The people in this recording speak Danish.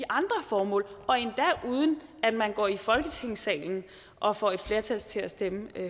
andre formål og endda uden at man går i folketingssalen og får et flertal til at stemme